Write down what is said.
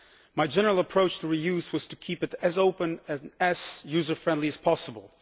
My general approach to re use was to keep it as open and user friendly as possible.